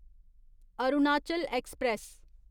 Arunachal express